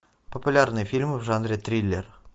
популярные фильмы в жанре триллер